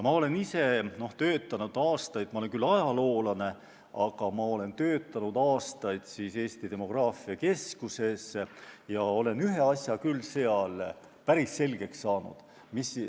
Ma olen küll ajaloolane, aga ma olen aastaid töötanud Eesti demograafia keskuses ja olen ühe asja küll seal päris selgeks saanud.